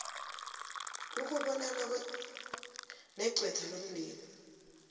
ukubonana negqwetha lomndeni